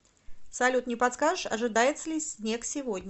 салют не подскажешь ожидается ли снег сегодня